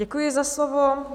Děkuji za slovo.